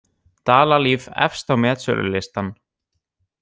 Dalalíf efst á metsölulistann